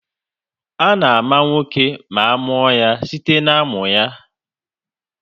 A na-àmà nwa oké na amụọ ya site na-amụ ya